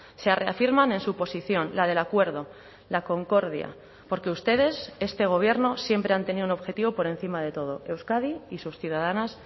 se reafirman en su posición la del acuerdo la concordia porque ustedes este gobierno siempre han tenido un objetivo por encima de todo euskadi y sus ciudadanas